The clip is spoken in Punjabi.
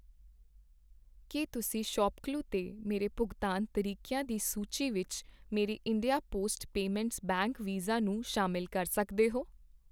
ਕੀ ਤੁਸੀਂਂ ਸੌਪਕਲੂ 'ਤੇ ਮੇਰੇ ਭੁਗਤਾਨ ਤਰੀਕਿਆਂ ਦੀ ਸੂਚੀ ਵਿਚ ਮੇਰੇ India Post Payments Bank Visa ਨੂੰ ਸ਼ਾਮਿਲ ਕਰ ਸਕਦੇ ਹੋ ?